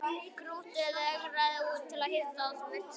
Krúttið eigraði út til að hitta þá og virtist leiðast.